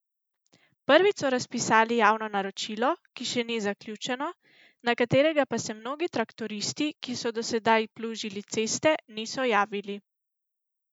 Prvič so razpisali javno naročilo, ki še ni zaključeno, na katerega pa se mnogi traktoristi, ki so do sedaj plužili ceste, niso javili.